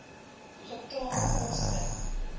getal poste